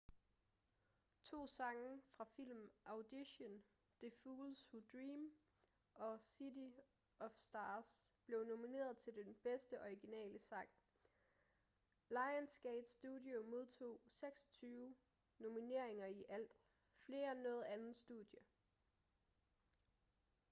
to sange fra filmen audition the fools who dream og city of stars blev nomineret til den bedste originale sang. lionsgate studio modtog 26 nomineringer i alt — flere end noget andet studie